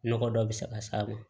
Nɔgɔ dɔ bɛ se ka s'a ma